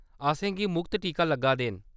असें गी मुख्त टीके लग्गा दे न ।